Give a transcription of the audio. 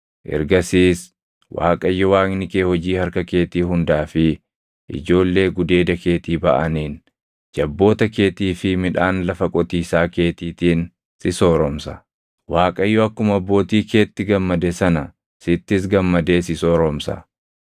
Ergasiis Waaqayyo Waaqni kee hojii harka keetii hundaa fi ijoollee gudeeda keetii baʼaniin, jabboota keetii fi midhaan lafa qotiisaa keetiitiin si sooromsa. Waaqayyo akkuma abbootii keetti gammade sana sittis gammadee si sooromsa;